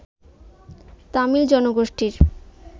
তামিল জনগোষ্ঠীর